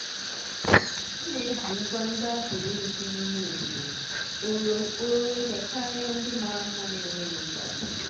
m na-eji ngwa ndị a pụrụ ịrụzi n'ime obodo kpọrọ kpọrọ ihe karịa ndị mara mma na-enweghị nkwado.